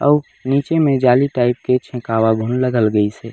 अउ निचे में जाली टाइप के छेकावा ब लगल गइसे।